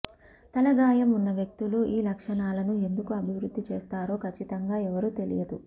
తల గాయం ఉన్న వ్యక్తులు ఈ లక్షణాలను ఎందుకు అభివృద్ధి చేస్తారో ఖచ్చితంగా ఎవరూ తెలియదు